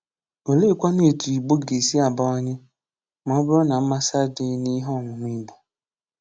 Oleekwanụ etu Igbo ga-esi abawanye, ma ọ bụrụ na mmasị adịghị n'ihe ọmụmụ Igbo?